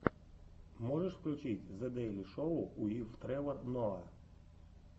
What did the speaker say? можешь включить зе дэйли шоу уив тревор ноа